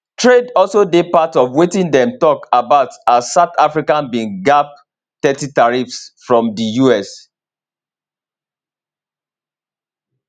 trade also dey part of wetin dem tok about as south africa bin gbab thirty tariffs from di us